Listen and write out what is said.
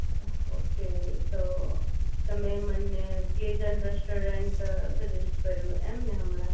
okay તો તમે મને પ્રેઝન્ટ રેસ્ટોરન્ટ સજેસ્ટ કર્યું એમ ને હમણાં